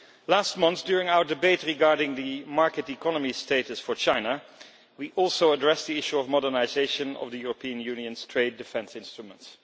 Last month, during our debate regarding the market economy status for China, we also addressed the issue of modernisation of the European Union's trade defence instruments.